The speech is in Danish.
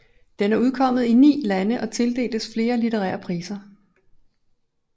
Den er udkommet i ni lande og tildeltes flere litterære priser